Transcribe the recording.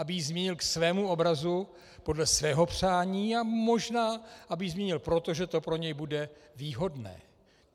Aby ji změnil k svému obrazu, podle svého přání, a možná aby ji změnil proto, že to pro něj bude výhodné.